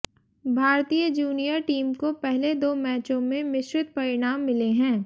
भारतीय junior team को पहले दो मैचों में मिश्रित परिणाम मिले हैं